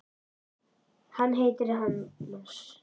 Hann heitir Hannes.